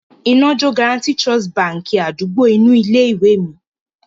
Iná jó Guaranty Trust Báńkì àdúgbò inú ilé-ìwé mi.